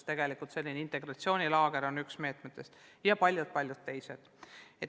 Integratsioonilaager on üks meetmetest, aga on veel paljud-paljud teised.